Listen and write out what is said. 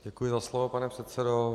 Děkuji za slovo, pane předsedo.